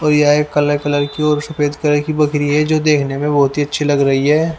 और ये काला कलर की और सफेद कलर की बकरी है जो देखने में बहुत ही अच्छी लग रही है।